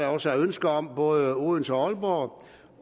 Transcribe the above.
også er ønske om både i odense og